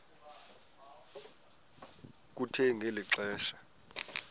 kuthe ngeli xesha